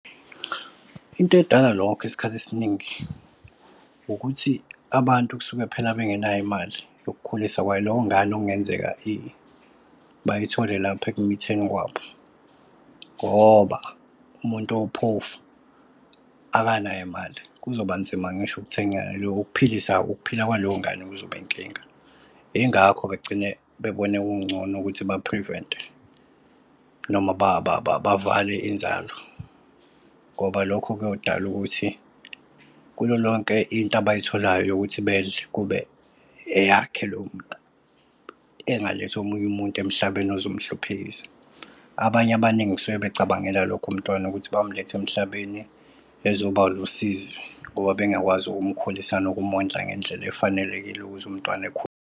Into edala lokho isikhathi esiningi ukuthi abantu kusuke phela bengenayo imali yokukhulisa kwaleyo ngane okungenzeka bayithole lapho ekumitheni kwabo. Ngoba umuntu owuphofu akanayo imali kuzoba nzima ngisho ukuthenga lokophilisa. Ukuphila kwaleyo ngane kuzoba inkinga. Ingakho begcine bebona kungcono ukuthi baphrivente noma bavale inzalo ngoba lokho kuyodala ukuthi kulolonke into abayitholayo yokuthi bedle kube eyakhe lowo muntu. Engalethi omunye umuntu emhlabeni ozomhluphekisa. Abanye abaningi kusuke becabangela lokho umntwana ukuthi bayomletha emhlabeni ezoba lusizi ngoba bengakwazi ukumkhulisa nokumondla ngendlela efanelekile ukuthi umntwana .